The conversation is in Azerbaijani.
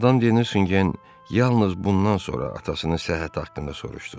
Madam de Nüsingen yalnız bundan sonra atasının səhhəti haqqında soruşdu.